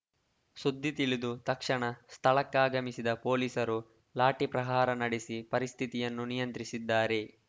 ಸುದ್ದಿ ತಿಳಿದು ತಕ್ಷಣ ಸ್ಥಳಕ್ಕಾಗಮಿಸಿದ ಪೊಲೀಸರು ಲಾಠಿ ಪ್ರಹಾರ ನಡೆಸಿ ಪರಿಸ್ಥಿತಿಯನ್ನು ನಿಯಂತ್ರಿಸಿದ್ದಾರೆ